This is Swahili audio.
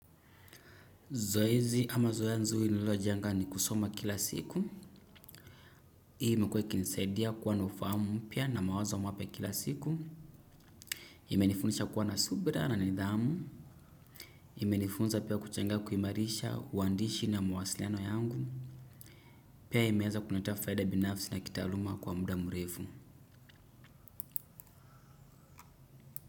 Zoezi ama zoeya nzuli nilo jenga ni kusoma kila siku. Hii imukiwa ikinisaidia kuwa na ufamu mpia na mawazo wa mapia kila siku. Imenifundisha kuwa na subra na nidhamu. Imenifunza pia kuchenga kuimarisha, uandishi na mwasiliano yangu. Pia imeanza kuletaa faida binafsi na kitaaluma kwa mbuda mrefu.